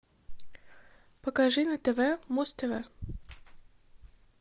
покажи на тв муз тв